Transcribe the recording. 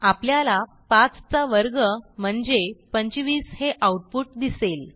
आपल्याला 5 चा वर्ग म्हणजे 25 हे आऊटपुट दिसेल